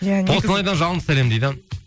қостанайдан жалынды сәлем дейді